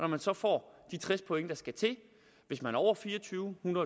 man så får de tres point der skal til hvis man over fire og tyve år